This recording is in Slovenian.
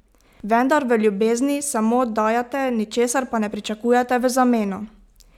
Vendar v ljubezni samo dajete, ničesar pa ne pričakujete v zameno!